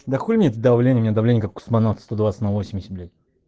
да хули нет это давление у меня давление как у космонавта сто двадцать на восемьдесят блять